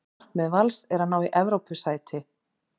Markmið Vals er að ná í Evrópusæti.